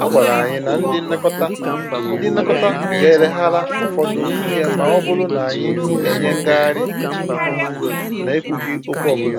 A gwàrà anyị na ndị nlekọta ndị nlekọta gà-eleghara ụfọdụ ihe ma ọ bụrụ na anyị enye ngarị na-ekwughị okwu ọbụla